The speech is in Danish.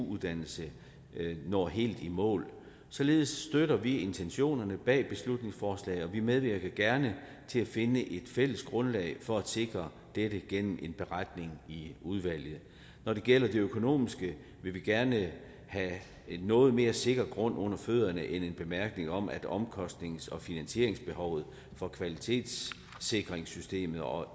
uddannelse når helt i mål således støtter vi intentionerne bag beslutningsforslaget og vi medvirker gerne til at finde et fælles grundlag for at sikre dette gennem en beretning i udvalget når det gælder det økonomiske vil vi gerne have noget mere sikker grund under fødderne end en bemærkning om at omkostnings og finansieringsbehovet for kvalitetssikringssystemet og